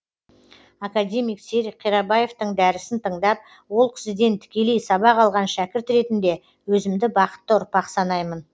академик серік қирабаевтың дәрісін тыңдап ол кісіден тікелей сабақ алған шәкірт ретінде өзімді бақытты ұрпақ санаймын